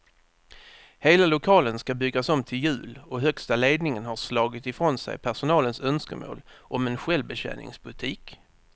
Hela lokalen ska byggas om till jul och högsta ledningen har slagit ifrån sig personalens önskemål om en självbetjäningsbutik.